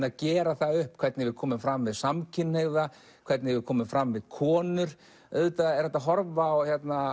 að gera upp hvernig við komum fram við samkynhneigða hvernig við komum fram við konur auðvitað er hægt að horfa á